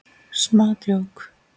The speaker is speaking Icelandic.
Smá djók.